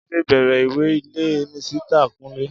Jídé béèrè ìwé ilé Misita kúnlé